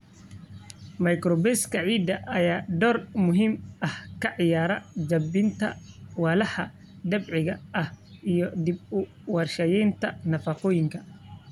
Microbes-ka ciidda ayaa door muhiim ah ka ciyaara jebinta walxaha dabiiciga ah iyo dib-u-warshadaynta nafaqooyinka.